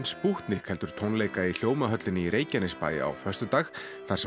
spútnik heldur tónleika í Hljómahöllinni í Reykjanesbæ á föstudag þar sem